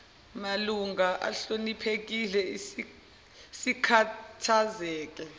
malungu ahloniphekile sikhathazeke